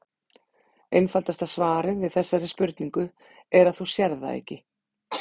Einfaldasta svarið við þessari spurningu er að þú sérð það ekki.